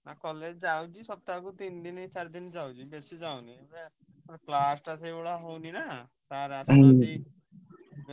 ନା college ଯାଉଛି ସପ୍ତାହକୁ ତିନି ଦିନ ଚାରି ଦିନ ଯାଉଛି ବେଶୀ ଯାଉନି class ।